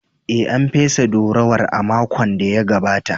Ee, An fesa durowar a makon da ya gabata.